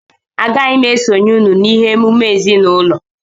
Agaghị m esonyere unu na-ịme emume ezinụlọ